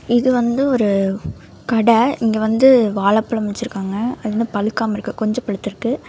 இது வந்து ஒரு கட. இங்க வந்து வாழப்பழம் வச்சிருக்காங்க. அது வந்து பழுக்காம இருக்கு கொஞ்சோ பழுத்துருக்கு.